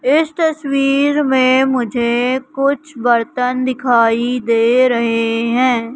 इस तस्वीर में मुझे कुछ बर्तन दिखाई दे रहे है।